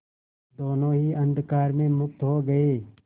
दोेनों ही अंधकार में मुक्त हो गए